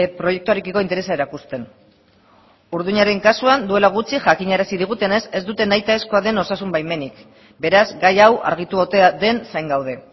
proiektuarekiko interesa erakusten orduñaren kasuan duela gutxi jakinarazi digutenez ez dute nahitaezkoa den osasun baimenik beraz gai hau argitu otea den zain gaude